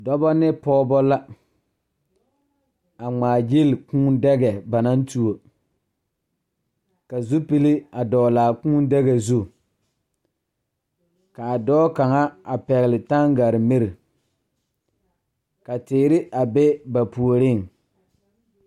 Dɔba ne pɔgeba la a ŋmaagyili Kūū daga ba naŋ tuo ka zupili a dɔgle a kūūdaga zu k,a dɔɔ kaŋa a pɛgle tangarimiri ka teere a be ba puoriŋ.